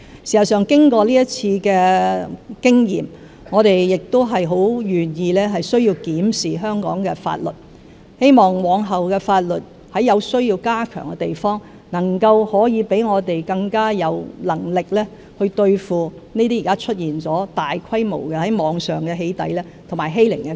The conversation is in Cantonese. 事實上，經過這次經驗，我們很願意檢視香港的法律，希望往後的法律可以在有需要的地方加強，讓我們更有能力對付現時網上出現的大規模"起底"和欺凌的情況。